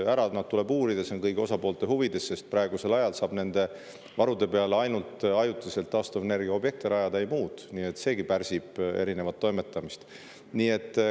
Ära tuleb nad uurida, see on kõigi osapoolte huvides, sest praegu saab nende varude peale rajada ainult ajutiselt taastuvenergiaobjekte, ei muud, nii et seegi pärsib erinevat toimetamist.